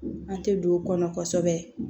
An tɛ don o kɔnɔ kosɛbɛ